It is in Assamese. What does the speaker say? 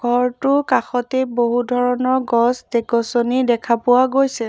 ঘৰটোৰ কাষতে বহু ধৰণৰ গছ দে গছনি দেখা পোৱা গৈছে।